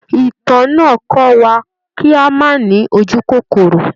Ìtàn náà kọ́ wa kí a má ní ojúkòkòrò.